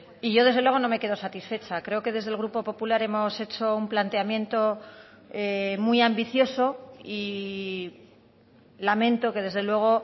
y yo desde luego no me quedo satisfecha creo que desde el grupo popular hemos hecho un planteamiento muy ambicioso y lamento que desde luego